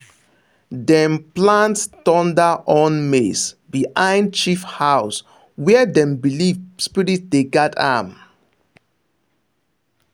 dem plant thunder horn maize behind chief house where dem believe spirit dey guard am.